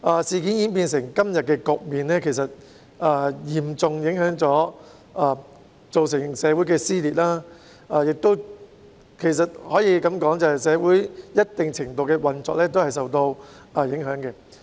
事件演變成今天的局面，其實已經造成社會撕裂，其實亦可以說，社會的運作已受到一定程度的影響。